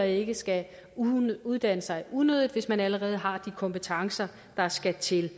ikke skal uddanne sig unødigt hvis man allerede har de kompetencer der skal til